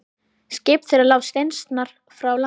Skip þeirra lá steinsnar frá landi.